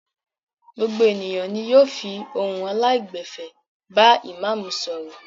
Gbogbo ènìyàn ni yóò fi ohun aláìgbẹ̀fẹ̀ bá ìmáámù sọ̀rọ̀.